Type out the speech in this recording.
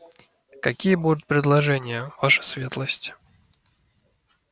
какие будут предложения ваша светлость